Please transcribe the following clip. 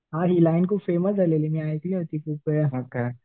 हां ही लाईन खूप फेमस झालेली मी ऐकली होती खूप वेळा.